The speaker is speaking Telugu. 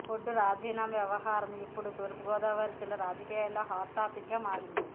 బొడ్డు రాజీనామా వ్యవహారం ఇప్పుడు తూర్పుగోదావరి జిల్లా రాజకీయాల్లో హాట్ టాపిక్ గా మారింది